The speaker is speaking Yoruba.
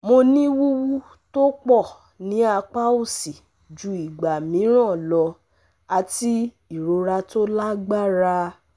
Mo ní wuwu to pọ ní apá òsì ju ìgbà mìíràn lọ àti ìrora tó lágbára